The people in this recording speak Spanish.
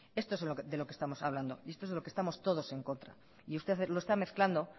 esto es de lo que estamos hablando y esto es de lo que estamos todos en contra y usted lo está mezclando